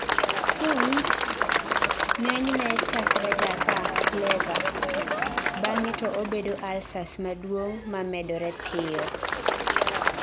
FUMHD ng'enyne chakrega ka PLEVA ,bang'e to obedo ulcers maduong' mamedore piyo